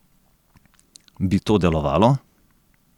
Bi to delovalo?